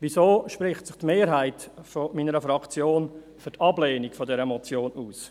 Weshalb spricht sich die Mehrheit meiner Fraktion für die Ablehnung dieser Motion aus?